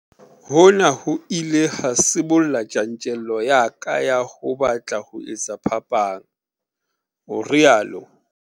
Hona ho ile ha sibolla tjantjello ya ka ya ho batla ho etsa phapang, o rialo.